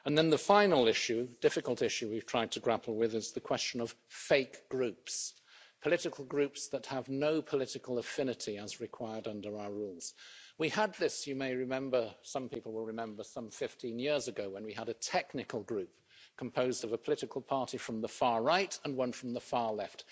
The final issue difficult issue we've tried to grapple with is the question of fake groups political groups that have no political affinity as required under our rules. We had this, you may remember some people will remember some 15 years ago when we had a technical group composed of a political party from the far right and one from the far left.